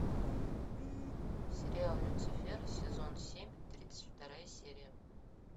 сериал люцифер сезон семь тридцать вторая серия